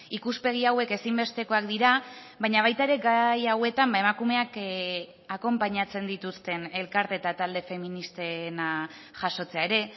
ikuspegi hauek ezinbestekoak dira baina baita ere gai hauetan emakumeak akonpainatzen dituzten elkarte eta talde feministena jasotzea ere